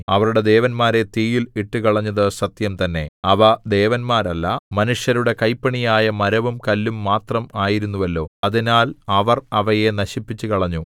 അവരുടെ ദേവന്മാരെ തീയിൽ ഇട്ടുകളഞ്ഞതു സത്യം തന്നെ അവ ദേവന്മാരല്ല മനുഷ്യരുടെ കൈപ്പണിയായ മരവും കല്ലും മാത്രം ആയിരുന്നുവല്ലോ അതിനാൽ അവർ അവയെ നശിപ്പിച്ചുകളഞ്ഞു